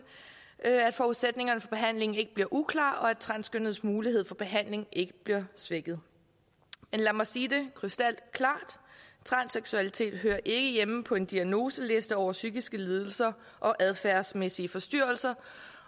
at at forudsætningerne for behandlingen ikke bliver uklare og at transkønnedes mulighed for behandling ikke bliver svækket men lad mig sige det krystalklart transseksualitet hører ikke hjemme på en diagnoseliste over psykiske lidelser og adfærdsmæssige forstyrrelser